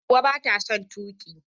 Hauwa bata son tuki.